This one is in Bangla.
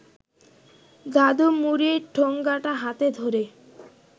দাদু মুড়ির ঠোঙাটা হাতে ধরে